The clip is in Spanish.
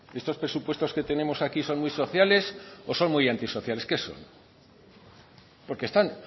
estos presupuestos que tenemos aquí son muy sociales o son muy anti sociales qué son porque están